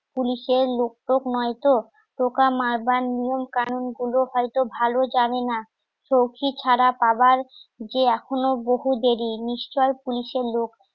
পুলিশের লোক টোক নয়তো পোকা মারবার নিয়ম কানুন গুলো হয়তো ভালো যাবে না সউখি ছাড়া পাবার যে এখনো বহু দেরি নিশ্চয়ই পুলিশের লোক